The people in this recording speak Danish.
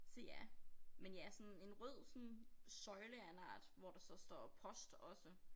Så ja men ja sådan en rød sådan søjle af en art hvor der så står post også